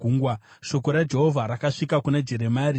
Shoko raJehovha rakasvika kuna Jeremia, richiti,